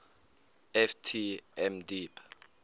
ft m deep